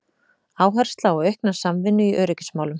Áhersla á aukna samvinnu í öryggismálum